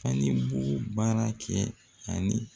Ani bon baara kɛ ani